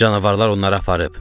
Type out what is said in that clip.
Canavarlar onları aparıb.